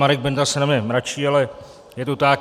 Marek Benda se na mě mračí, ale je to tak.